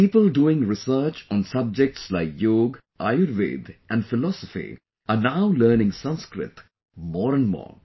People doing research on subjects like Yoga, Ayurveda and philosophy are now learning Sanskrit more and more